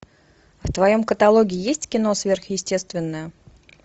в твоем каталоге есть кино сверхъестественное